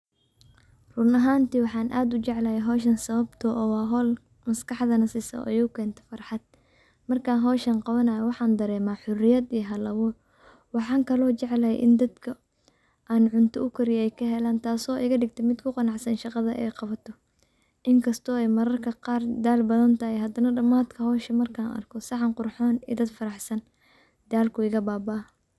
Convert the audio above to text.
Run ahanti waxn ad ujeclhy howshan sababto ah wa howl maskaxdana siso uu ekonto farxad, markan qawanayo waxan darema xoriyad iyo hal-abur. Waxan kalo jeclhy in dadka an cunto ukariyo kahelan tas oo igadigto mid kuqanacsan shaqada ay qabato. In kasto mararka qar ay dal badhan tahay hadana daman marka howsha arko saxan qurxon iyo dadka oo faraxsan , dhalka uu iga bababah.